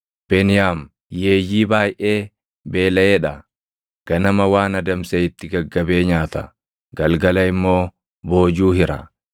“Beniyaam yeeyyii baayʼee beelaʼee dha; ganama waan adamse itti gaggabee nyaata; galgala immoo boojuu hira.”